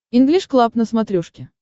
инглиш клаб на смотрешке